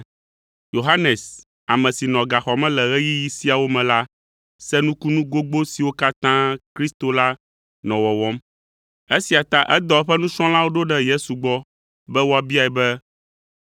Yohanes, ame si nɔ gaxɔ me le ɣeyiɣi siawo me la se nukunu gbogbo siwo katã Kristo la nɔ wɔwɔm. Esia ta edɔ eƒe nusrɔ̃lawo ɖo ɖe Yesu gbɔ be woabiae be,